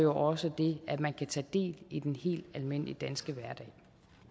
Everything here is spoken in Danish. også det at man kan tage del i den helt almindelige danske hverdag